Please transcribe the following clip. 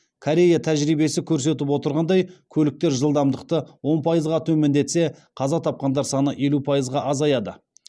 корея тәжірибесі көрсетіп отырғандай көліктер жылдамдықты он пайызға төмендетсе қаза тапқандар саны елу пайызға азаяды